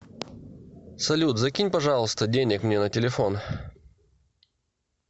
салют закинь пожалуйста денег мне на телефон